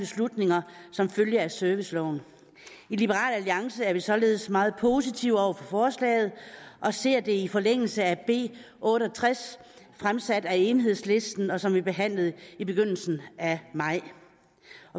beslutninger som følge af serviceloven i liberal alliance er vi således meget positive over for forslaget og ser det i forlængelse af b otte og tres fremsat af enhedslisten som vi behandlede i begyndelsen af maj